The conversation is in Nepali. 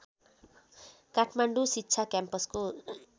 काठमाडौँ शिक्षा क्याम्पसको